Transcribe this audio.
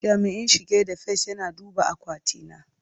Jami'in shige da fice yana duba akwati na.